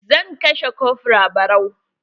Zan kashe kofra barau.